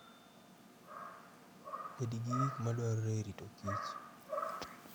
Bed gi gik ma dwarore e rito kich.